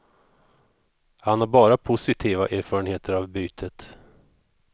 Han har bara positiva erfarenheter av bytet.